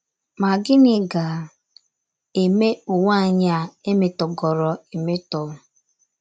Ma, gịnị ga - eme ụwa anyị a, emetọgoro emetọ?